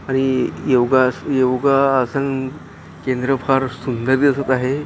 आणि योगा योगासनं केंद्र फार सुंदर दिसत आहे.